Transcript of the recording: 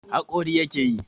Haƙori yake yi.